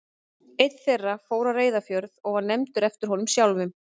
Einn þeirra fór á Reyðarfjörð og var nefndur eftir honum sjálfum.